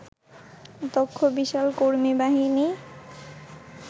দক্ষ বিশাল কর্মীবাহিনী